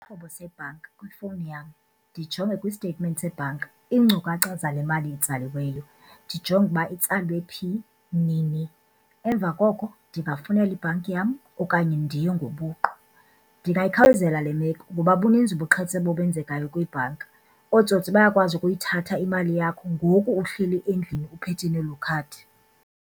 Sebhanka kwifowuni yam, ndijonge kwi-statement sebhanka iinkcukacha zale mali itsaliweyo, ndijonge uba itsalwe phi nini, emva koko ndingafowunela ibhanki yam okanye ndiye ngobuqu. Ndingayikhawulezela le meko ngoba buninzi ubuqhetseba obenzekayo kwiibhanki, ootsotsi bayakwazi ukuyithatha imali yakho ngoku uhleli endlini uphethe nelo khadi.